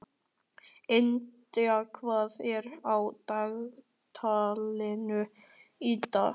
India, hvað er á dagatalinu í dag?